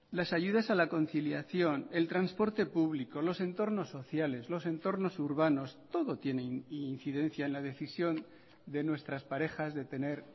las ayudas a la conciliación el transporte público los entornos sociales los entornos urbanos todo tiene incidencia en la decisión de nuestras parejas de tener